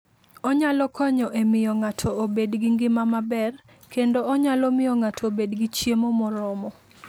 Onyalo konyo e miyo ng'ato obed gi ngima maber, kendo onyalo miyo ng'ato obed gi chiemo moromo.